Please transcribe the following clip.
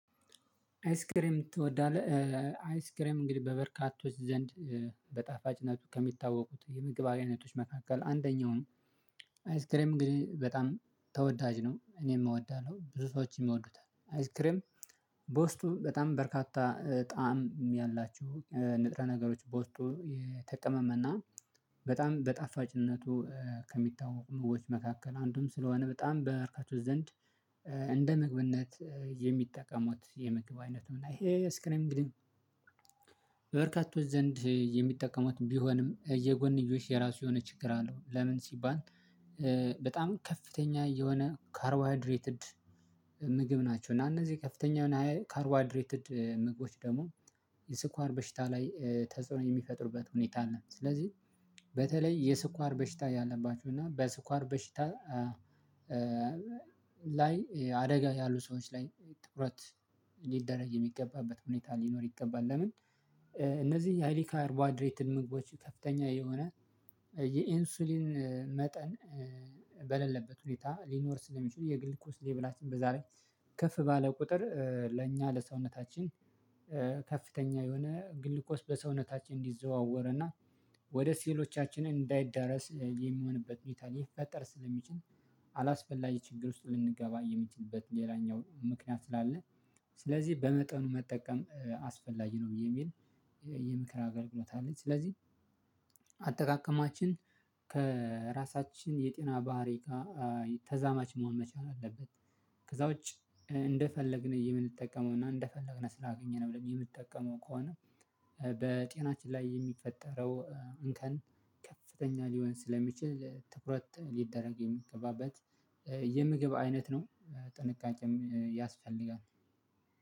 አይስክሬም ትወዳለህ? አይስክሬም እንግዲህ በበርካቶች ዘንድ በጣፋጭነቱ ከሚታወቁት የምግብ አይነቶች መካከል አንደኛውም አይስክሬም ግን በጣም ተወዳጅ ነው እኔም ወዳለው ብዙ ሰዎችን ይወዱታል አይስክሬም። በውስጡ በጣም በርካታ ጣዕም ያላችሁ ንጥረ ነገሮች በውስጡ የተቀመመና በጣም በጣፋጭነቱ ከሚታወቁ ምግቦች መካከል አንዱም ስለሆነ በጣም በበርካቶች ዘንድ እንደ ምግብነት የሚጠቀሙት የምግብ አይነትን እና ይሄ ስክሪን እንግዲህ በበርካቶች ዘንድ የሚጠቀሙትም ቢሆንም የጎንዮሽ የራሱ የሆነ ችግር አለው። ለምን ሲባል በጣም ከፍተኛ የሆነ ካርቦሃድሬትድ ምግብ ናቸው እና እነዚህ ከፍተኛ ካርዋድሬትድ ምግቦች ደግሞ የስኳር በሽታ ላይ ተጽዕኖ የሚፈጥሩበት ሁኔታ አለ። ስለዚህ በተለይ የስኳር በሽታ ያለባችሁና በስኳር በሽታ ላይ አደጋ ያሉ ሰዎች ላይ ትኩረት ሊደረግ የሚገባበት ሁኔታ ሊኖር ይገባል። ለምን እነዚህ የሀይል ካርቦህይድሬትድ ምግቦች ከፍተኛ የሆነ የኢንሱሊን መጠን በሌለበት ሁኔታ ሊኖር ስለሚችል የግልኮስ ሌብላችን በዛ ላይ ከፍ ባለ ቁጥር ለእኛ ለሰውነታችን ከፍተኛ የሆነ ግሉኮስ በሰውነታችን እንዲዘዋወርና ወደ ሴሎቻችን እንዳይዳረስ የሚሆንበት ሁንታ ሊፈጠር ስለሚችል አላስፈላጊ ችግር ውስጥ ልንገባ የሚችልበት ሌላኛው ምክንያት ስላለ ስለዚህ በመጠኑ መጠቀም አስፈላጊ ነው የሚል የምክር አገልግሎት አለኝ። ስለዚህ አጠቃቀማችን ከራሳችን የጤና ባህሪ ጋር ተዛማች መሆን መቻል አለበት። ከዛ ውጪ እንደፈለግን የምንጠቀመውና እንደፈለግን ስላገኘን ብለን የምንጠቀመው ከሆነ በጤናችን ላይ የሚፈጠረው እንከን ከፍተኛ ሊሆን ስለሚችል ትኩረት ሊደረግ የሚገባበት የምግብ አይነት ነው። ጥንቃቄም ያስፈልጋል።